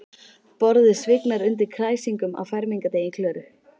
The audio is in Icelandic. Borðið svignar undan kræsingunum á fermingardegi Klöru.